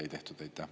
Aitäh!